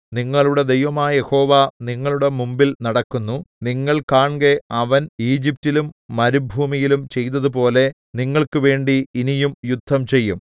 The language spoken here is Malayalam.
നിങ്ങളുടെ ദൈവമായ യഹോവ നിങ്ങളുടെ മുമ്പിൽ നടക്കുന്നു നിങ്ങൾ കാൺകെ അവൻ ഈജിപ്റ്റിലും മരുഭൂമിയിലും ചെയ്തതുപോലെ നിങ്ങൾക്കുവേണ്ടി ഇനിയും യുദ്ധം ചെയ്യും